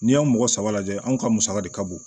N'i y'a mɔgɔ saba lajɛ anw ka musaka de ka bon